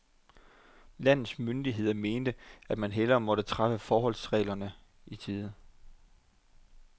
Landets myndigheder mente, at man hellere måtte træffe forholdsregler i tide.